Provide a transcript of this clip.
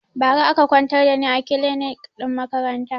Ba ra aka kwantar da ni a kilinik ɗin makaranta